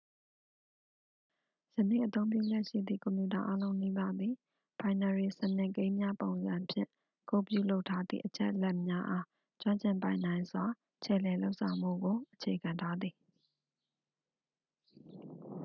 ယနေ့အသုံးပြုလျက်ရှိသည့် ကွန်ပျူတာအားလုံးနီးပါးသည် ဘိုင်နရီစနစ်ကိန်းများပုံစံဖြင့် ကုဒ်ပြုလုပ်ထားသည့် အချက်အလက်များအား ကျွမ်းကျင်ပိုင်နိုင်စွာ ခြယ်လှယ်လုပ်ဆောင်မှုကို အခြေခံထားသည်